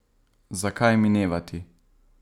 Zakaj minevati?